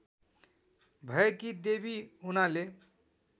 भएकी देवी हुनाले